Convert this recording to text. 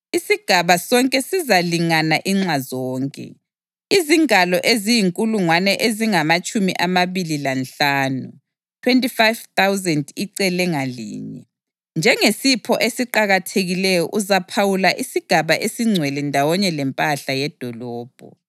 Isigaba sonke sizalingana inxa zonke, izingalo eziyinkulungwane ezingamatshumi amabili lanhlanu (25,000) icele ngalinye. Njengesipho esiqakathekileyo uzaphawula isigaba esingcwele ndawonye lempahla yedolobho.